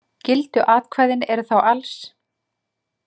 Gildu atkvæðin eru þá alls